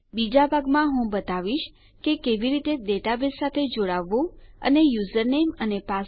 બીજા ભાગમાં હું બતાવીશ કે કેવી રીતે ડેટાબેઝ સાથે જોડાવવું અને યુઝરનેમ અને પાસવર્ડ માટે કેવી રીતે તપાસ કરવી